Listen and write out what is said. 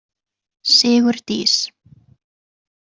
Sigurdís